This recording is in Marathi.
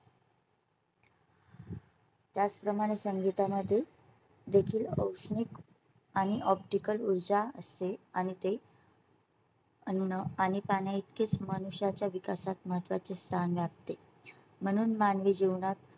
त्याचप्रमाणे संगीतामध्ये देखील औष्णिक आणि optical ऊर्जा असते आणि ते. आणि न आणि तां नये इतकेच मनुष्या च्या विकासात महत्वाचे स्थान लागते म्हणून मानवी जीवनात